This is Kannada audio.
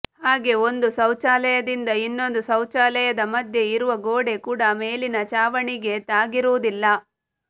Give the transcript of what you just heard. ಹಾಗೆ ಒಂದು ಶೌಚಾಲಯದಿಂದ ಇನ್ನೊಂದು ಶೌಚಾಲಯದ ಮಧ್ಯೆ ಇರುವ ಗೋಡೆ ಕೂಡ ಮೇಲಿನ ಚಾವಣಿಗೆ ತಾಗಿರುವುದಿಲ್ಲ